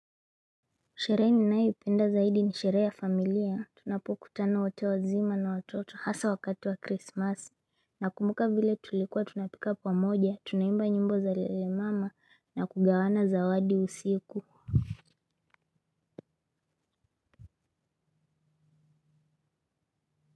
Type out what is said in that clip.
Sherehe ninaye penda zaidi ni sherehe ya familia, tunapukutana wote wazima na watoto hasa wakati wa krismasi na kumbuka vile tulikuwa tunapika pamoja, tunaimba nyimbo za lele mama na kugawana zawadi usiku.